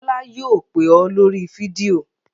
Bọ́lá yóò pè ọ́ lórí fídíò!